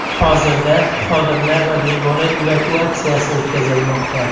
Hozirda xodimlar va bemorlar evakuatsiyasi o‘tkazilmoqda.